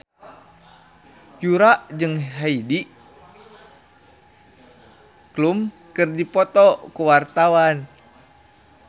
Yura jeung Heidi Klum keur dipoto ku wartawan